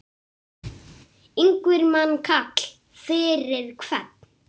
Ingimar Karl: Fyrir hvern?